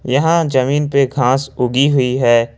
यहां जमीन पे घास उगी हुई है।